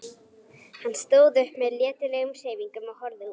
Hann stóð upp með letilegum hreyfingum og horfði út.